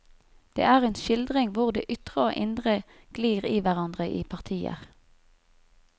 Det er en skildring hvor det ytre og indre glir i hverandre i partier.